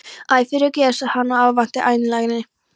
Æ, fyrirgefðu sagði hann af óvæntri einlægni.